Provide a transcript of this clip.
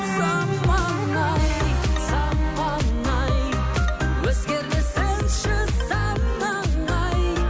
заман ай заман ай өзгермесінші санаң ай